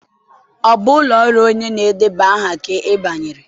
Ọ bụ ụlọ ọrụ onye na-edeba aha ka ị banyere?